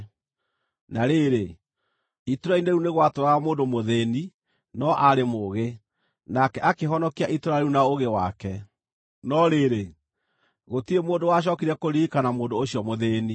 Na rĩrĩ, itũũra-inĩ rĩu nĩ gwatũũraga mũndũ mũthĩĩni no aarĩ mũũgĩ, nake akĩhonokia itũũra rĩu na ũũgĩ wake. No rĩrĩ, gũtirĩ mũndũ wacookire kũririkana mũndũ ũcio mũthĩĩni.